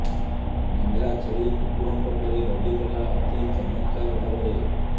ମେଣ୍ଢାଛେଳି କୁକୁରଙ୍କ ପରି ରଡ଼ି କଲା ଅତି ଚମତ୍କାର ଭାବରେ